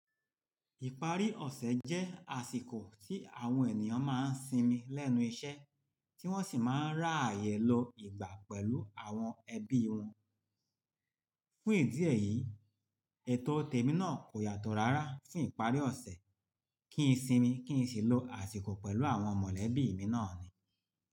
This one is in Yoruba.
Ìparí ọ̀sẹ̀ jẹ́ àsìkò tí àwọn ènìyàn máa ń sinmi lẹ́nu iṣẹ́ tí wọ́n sì máa ń rá ààyè lọ ìgbà pẹ̀lú àwọn ẹbí wọn. Fún ìdí èyí, ètò te mi náà kò yàtọ̀ rárá fún ìparí ọ̀sẹ̀ kí n sinmi kí n sì lọ àsìkò pẹ̀lú àwọn mọ̀lẹ́bí mi náà ni.